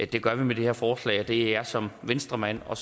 det gør vi med det her forslag og det er jeg som venstremand og